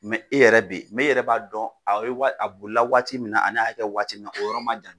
e yɛrɛ be e yɛrɛ b'a dɔn a ye wa a bolila waati min na ani a y'a kɛ waati min na o yɔrɔ man jan.